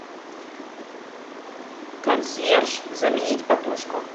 консьерж заменить подушку